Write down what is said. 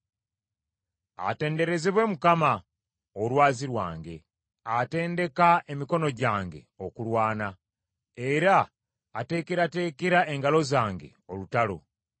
Atenderezebwe Mukama , olwazi lwange, atendeka emikono gyange okulwana, era ateekerateekera engalo zange olutalo.